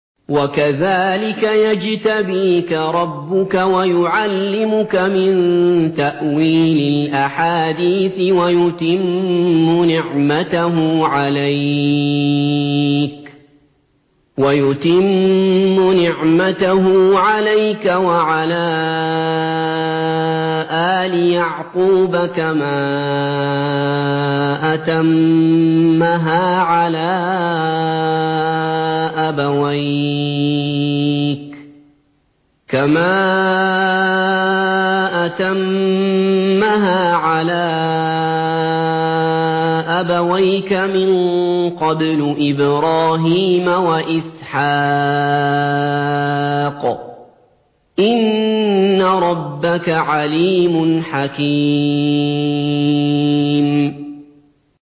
وَكَذَٰلِكَ يَجْتَبِيكَ رَبُّكَ وَيُعَلِّمُكَ مِن تَأْوِيلِ الْأَحَادِيثِ وَيُتِمُّ نِعْمَتَهُ عَلَيْكَ وَعَلَىٰ آلِ يَعْقُوبَ كَمَا أَتَمَّهَا عَلَىٰ أَبَوَيْكَ مِن قَبْلُ إِبْرَاهِيمَ وَإِسْحَاقَ ۚ إِنَّ رَبَّكَ عَلِيمٌ حَكِيمٌ